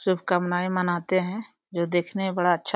शुभकामनाये मनाते है जो देखने में बड़ा अच्छा --